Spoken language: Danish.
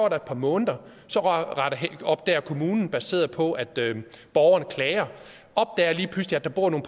et par måneder og så opdager kommunen baseret på at borgerne klager at der bor nogle